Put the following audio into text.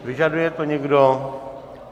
Vyžaduje to někdo?